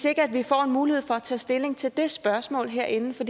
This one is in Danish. ikke får en mulighed for at tage stilling til det spørgsmål herinde for